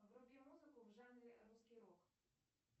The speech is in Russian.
вруби музыку в жанре русский рок